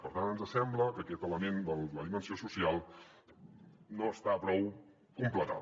per tant ens sembla que aquest element de la dimensió social no està prou completat